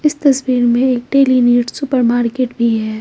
इस तस्वीर में एक डेली नीड सुपरमार्केट भी है।